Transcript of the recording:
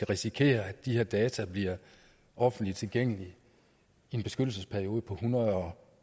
risikerer at de her data bliver offentligt tilgængelige i en beskyttelsesperiode på en hundrede